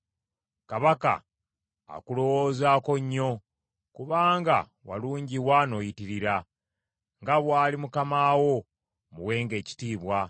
Kabaka akulowoozaako nnyo, kubanga walungiwa n’oyitirira; nga bw’ali mukama wo, muwenga ekitiibwa.”